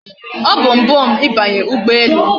O bu mbu m ibanye ugbo ele